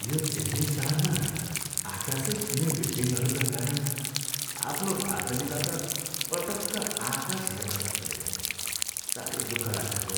यो चेन्नई सहरमा आकासै छुनै बिल्डिङहरूका कारण आफ्नो बार्दलीबाट पटक्क आकास हेर्न सकिँदैन। साह्रै दुःख लाग्छ हौ।